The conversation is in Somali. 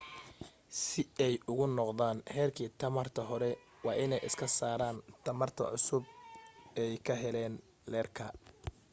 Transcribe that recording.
si ay ugu noqdaan heerki tamarta hore waa in ay iska saaran tamarta cusub ay ka heleen leerka